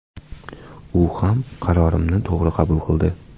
U ham qarorimni to‘g‘ri qabul qildi.